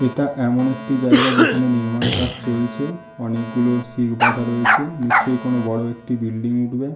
এটা এমন একটি জায়গা যেখানে নির্মাণ কাজ চলছে অনেকগুলো সিওবাধা রয়েছে নিশ্চই কোনো বড়ো একটি বিল্ডিং উঠবে।